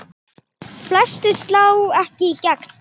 Flestir slá ekki í gegn.